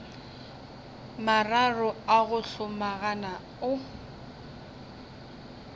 mararo a go hlomagana o